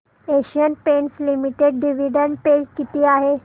Asian Paints Limited dividend पे किती आहे